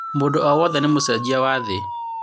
Mũndũ o wothe nĩ mũcenjia wa thĩ.